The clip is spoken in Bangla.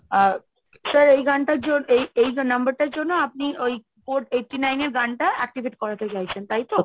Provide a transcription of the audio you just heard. আ sir এই গানটার জন্য এই এই number টার জন্য আপনি ওই code eighty nine এর গানটা activate করাতে চাইছেন, তাই তো?